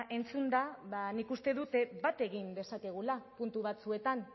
entzunda ba nik uste dute bat egin dezakegula puntu batzuetan